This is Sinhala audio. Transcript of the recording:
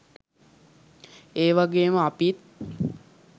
ඒවගේම අපිත්